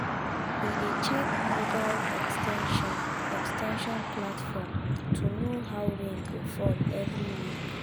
he dey check mobile ex ten sion ex ten sion platform to know how rain go fall every week.